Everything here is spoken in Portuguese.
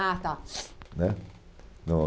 Ah, tá. Né no